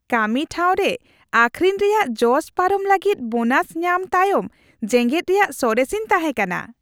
ᱠᱟᱹᱢᱤ ᱴᱷᱟᱶᱨᱮ ᱟᱹᱠᱷᱨᱤᱧ ᱨᱮᱭᱟᱜ ᱡᱚᱥ ᱯᱟᱨᱚᱢ ᱞᱟᱹᱜᱤᱫ ᱵᱳᱱᱟᱥ ᱧᱟᱢ ᱛᱟᱭᱚᱢ ᱡᱮᱜᱮᱫ ᱨᱮᱭᱟᱜ ᱥᱚᱨᱮᱥᱤᱧ ᱛᱟᱦᱮᱸ ᱠᱟᱱᱟ ᱾